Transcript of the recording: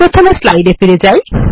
প্রথমে স্লাইড ফিরে যাই